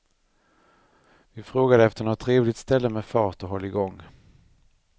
Vi frågade efter något trevligt ställe med fart och hålligång.